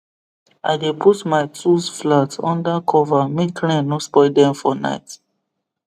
i dey put my tools flat under cover make rain no spoil dem for night